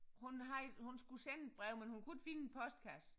Hun har hun skulle sende et brev men hun kunne ikke finde en postkasse